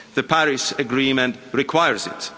The Paris Agreement requires it.